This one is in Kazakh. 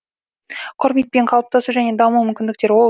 құрметпен қалыптасу және даму мүмкіндіктері ол